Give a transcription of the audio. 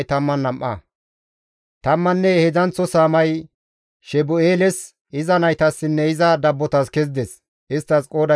Tammanne heedzdzanththo saamay Shebu7eeles, iza naytassinne iza dabbotas kezides; isttas qooday 12.